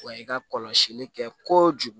Wa i ka kɔlɔsili kɛ kojugu